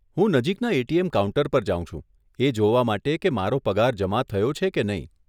હું નજીકના ATM counter પર જાઉં છું, એ જોવા માટે કે મારો પગાર જમા થયો છે કે નહીં.